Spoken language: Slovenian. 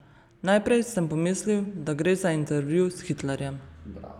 Najprej sem pomislil, da gre za intervju s Hitlerjem.